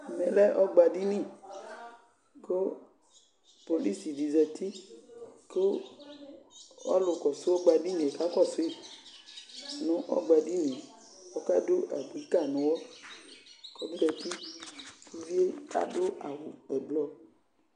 Ɛmɛmlɛ ɔgbaɖini kʋ polici ɖi zati kʋ ɔlʋ kɔsʋ ɔgbaɖini k'akɔsuiɛ nʋ ɔgbaɖiniɛƆkaɖʋ abui kayi nʋ ʋɣɔk'ɔzatiƲviɛ aɖʋ awu ʋblɔ